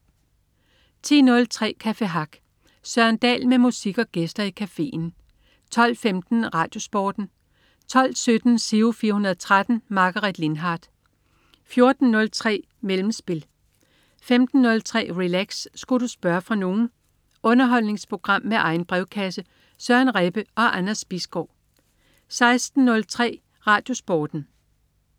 10.03 Café Hack. Søren Dahl med musik og gæster i cafeen 12.15 RadioSporten 12.17 Giro 413. Margaret Lindhardt 14.03 Mellemspil 15.03 Relax. Sku' du spørge fra nogen? Underholdningsprogram med egen brevkasse. Søren Rebbe og Anders Bisgaard 16.03 RadioSporten